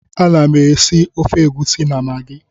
Ana m esi ofe egusi na magi